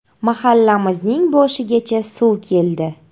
Mahallamizning boshigacha suv keldi.